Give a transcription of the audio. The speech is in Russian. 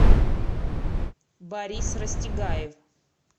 борис растегаев